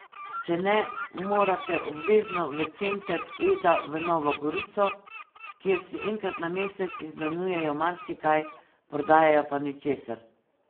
Če ne, morate obvezno v center Eda v Novo Gorico, kjer si enkrat na mesec izmenjujejo marsikaj, prodajajo pa ničesar.